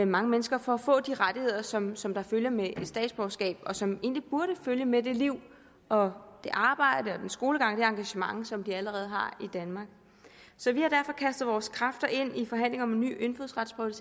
mange mennesker fra at få de rettigheder som som der følger med et statsborgerskab og som egentlig burde følge med det liv og det arbejde og den skolegang og engagement som de allerede har i danmark så vi har derfor kastet vores kræfter ind i forhandlingerne om en ny indfødsretsprøve